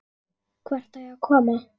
Hvert á ég að koma?